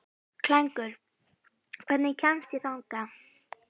Klængur, hvernig kemst ég þangað?